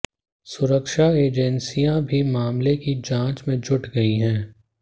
सुरक्षा एजेंसियां भी मामले की जांच में जुट गई हैं